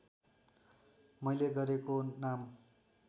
मैले गरेको नाम